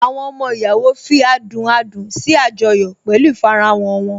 Àwọn ọmọ ìyàwó fi adùn adùn sí àjọyọ̀ pẹ̀lú ìfarahàn wọn